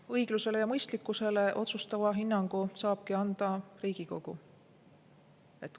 Õiglusele ja mõistlikkusele otsustava hinnangu saabki anda Riigikogu.